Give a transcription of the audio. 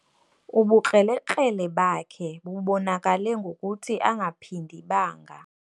Ubukrelekrele bakhe bubonakale ngokuthi angaphindi banga.